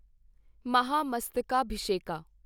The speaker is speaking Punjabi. ਮਹਾਮਸਤਕਾਭਿਸ਼ੇਕਾ